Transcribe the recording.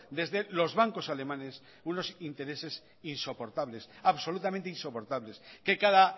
desde los bancos alemanes unos intereses insoportables absolutamente insoportables que cada